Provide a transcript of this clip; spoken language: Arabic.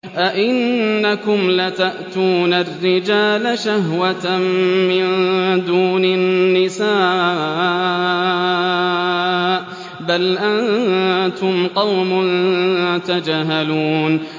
أَئِنَّكُمْ لَتَأْتُونَ الرِّجَالَ شَهْوَةً مِّن دُونِ النِّسَاءِ ۚ بَلْ أَنتُمْ قَوْمٌ تَجْهَلُونَ